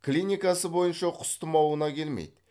клиникасы бойынша құс тұмауына келмейді